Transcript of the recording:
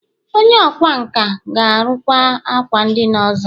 Onye ọkwá nkà ga-arụru m ákwà ndina ọzọ